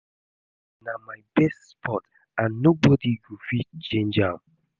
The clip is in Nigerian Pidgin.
ten nis na my best sport and nobody go fit change am